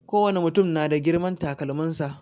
Kowane mutum na da girman takalmin sa.